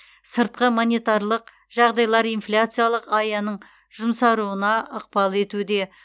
сыртқы монетарлық жағдайлар инфляциялық аяның жұмсаруына ықпал етуде